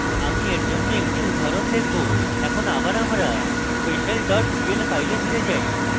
আমি এর জন্য একটি উদাহরণ দেখাবো এখন আমরা আবার special dot pl file এ file যাই